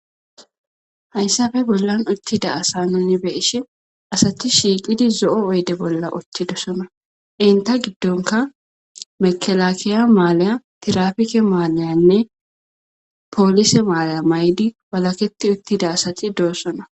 hayssappe bollan uttida asa nuni beishi asati shiiqidi zo'o oyde bolla uttidosona enita giddonka mekelakiya maalaya tirafike maalayanne poolise maalaya mayidi walaketi uttida asati doossona